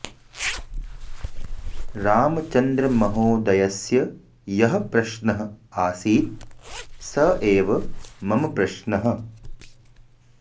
रामचन्द्रमहोदयस्य यः प्रश्नः आसीत् स एव मम प्रश्नः